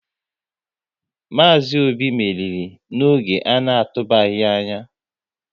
Maazi Obi meriri n'oge ana tubaghi anya